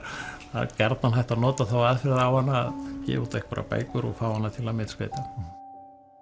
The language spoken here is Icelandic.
það er gjarnan hægt að nota þá aðferð á hana að gefa út einhverjar bækur og fá hana til að myndskreyta sannfæring og